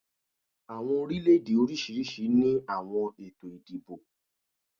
Awọn orilẹ-ede oriṣiriṣi ni awọn eto idibo